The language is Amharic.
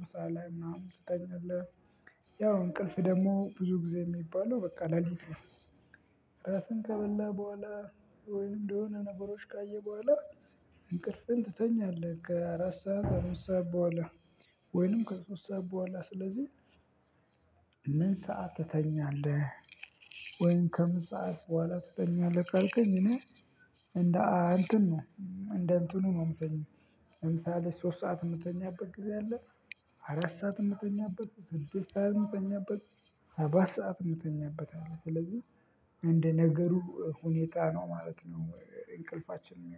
ምሳ ላይ ምናምን ትተኛለህ። ያው እንቅልፍ ደግሞ ብዙ ጊዜ የሚባለው በቃ ሌሊት ነው። ራትህን ከበላህ በኋላ ወይም እንደሆነ ነገሮች ካየህ በኋላ እንቅልፍን ትተኛለህ ከአራት ሰዓት አምስት ሰዓት በኋላ ወይንም ከሶስት ሰዓት በኋላ ስለዚህ። ምን ሰዓት ትተኛለህ? ወይንም ከምን ሰዓት በኋላ ትተኛለህ ካልከኝ? እኔ እንደ እንተን ነው እንደ እንትኑ ነው የምተኛው። ለምሳሌ ሶስት ሰዓት የምተኛበት ጊዜ አለ። አራት ሰዓት የምተኛበት ስድስት ሰዓት የምተኛበት ሰባት ሰዓት እምተኛበት አለ። ስለዚህ እንደ ነገሩ ሁኔታ ነው ማለት ነው። እንቅልፋችን